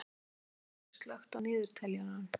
Eyhildur, slökktu á niðurteljaranum.